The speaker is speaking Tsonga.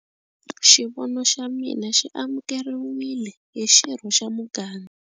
Xivono xa mina xi amukeriwile hi xirho xa muganga.